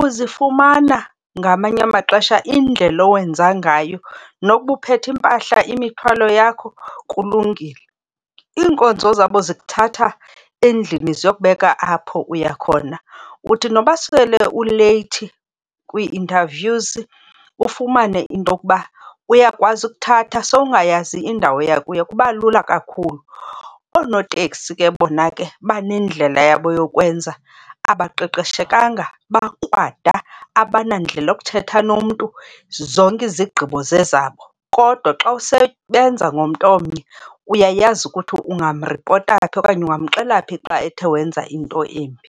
Uzifumana ngamanye amaxesha indlela owenza ngayo nokuba uphethe iimpahla imithwalo yakho kulungile. Iinkonzo zabo zikuthatha endlini ziyokubeka apho uya khona. Uthi noba sele uleyithi kwii-nterviews ufumane into yokuba uyakwazi ukukuthatha sowungayazi indawo oya kuyo, kuba lula kakhulu. Oonoteksi ke bona ke banendlela yabo yokwenza, abaqeqeshekanga, bakrwada, abanandlela yokuthetha nomntu, zonke izigqibo zezabo. Kodwa xa usebenza ngomntu omnye uyayazi ukuthi ungamripota phi okanye ungamxelela phi xa ethe wenza into embi.